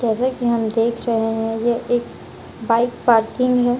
जैसे में हम देख रहे हैं ये एक बाइक पार्किंग है।